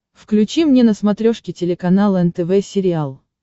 включи мне на смотрешке телеканал нтв сериал